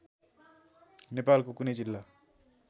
नेपालको कुनै जिल्ला